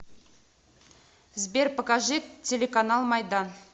сбер покажи телеканал майдан